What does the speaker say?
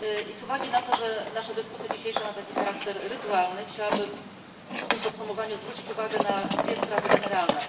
Z uwagi na to, że nasza dzisiejsza dyskusja ma taki charakter rytualny, chciałabym w tym podsumowaniu zwrócić uwagę na dwie sprawy generalne.